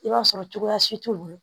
I b'a sɔrɔ cogoya si t'u bolo